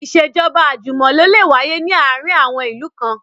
Ìṣèjọ́ba àjùmọ̀lò lè wáyé ní àwọn ìlú kan